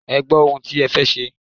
Ẹ gbọ́ ohun tí ẹ fẹ́ ṣe.